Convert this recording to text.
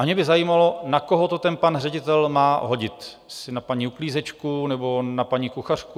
A mě by zajímalo, na koho to ten pan ředitel má hodit, jestli na paní uklízečku nebo na paní kuchařku?